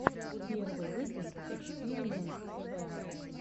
первый выпуск экспиримэнт тв